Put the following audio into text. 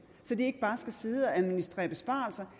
så de ikke bare skal sidde og administrere besparelser